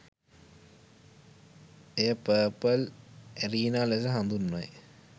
එය purple arena ලෙස හඳුන්වයි